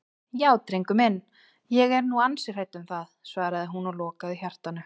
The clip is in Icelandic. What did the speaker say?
Já drengur minn, ég er nú ansi hrædd um það, svaraði hún og lokaði hjartanu.